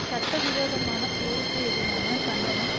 சட்ட விரோதமான போருக்கு எதிரான கண்டனம்